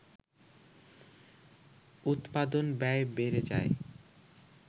উৎপাদন ব্যয় বেড়ে যায়